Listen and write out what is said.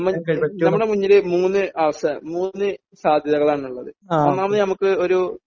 നമ്മുടെ മുന്നിൽ മൂന്ന് അവസരം മൂന്ന് സാധ്യതകളാണുള്ളത് ഒന്നാമത് നമക്ക് ഒരു